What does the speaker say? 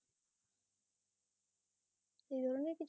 সেই জন্য কিছু